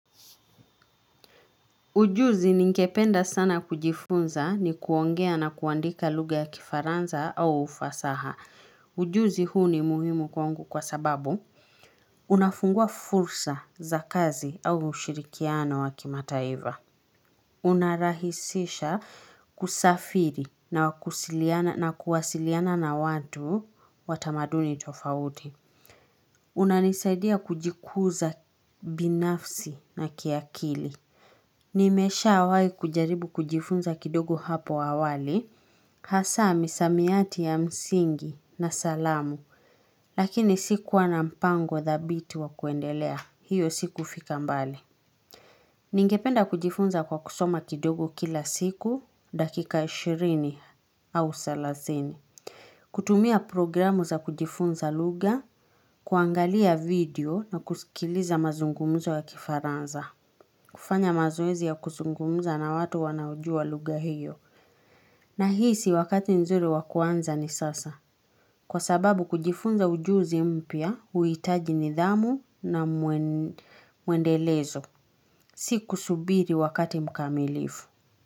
Ujuzi ningependa sana kujifunza ni kuongea na kuandika lugha ya kifaranza au ufasaha. Ujuzi huu ni muhimu kwangu kwa sababu. Unafungua fursa za kazi au ushirikiano wa kimataiva. Unarahisisha kusafiri na kusiliana na kuwasiliana na watu wa tamaduni tofauti. Unanisaidia kujikuza binafsi na kiakili. Nimeshawai kujaribu kujifunza kidogo hapo awali. Hasa misamiati ya msingi na salamu. Lakini sikuwa na mpango thabiti wa kuendelea. Hiyo si kufika mbali. Ningependa kujifunza kwa kusoma kidogo kila siku. Dakika ishirini au thelathini. Kutumia programu za kujifunza lugha. Kuangalia video na kusikiliza mazungumzo ya kifaranza. Kufanya mazoezi ya kusungumza na watu wanaojua lugha hiyo. Nahisi wakati nzuri wakuanza ni sasa. Kwa sababu kujifunza ujuzi mpya, uitaji nidhamu na mwendelezo. Si kusubiri wakati mkamilifu.